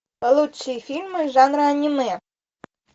лучшие фильмы жанра аниме